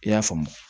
I y'a faamu